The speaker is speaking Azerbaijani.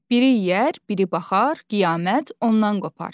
Biri yeyər, biri baxar, qiyamət ondan qopar.